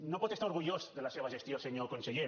no pot estar orgullós de la seva gestió senyor conseller